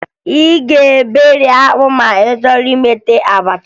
Ị ga-eberi akpụ ma ị chọọ imeta abacha